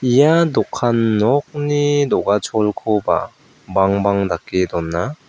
ia dokan nokni do·gacholkoba bangbang dake dona.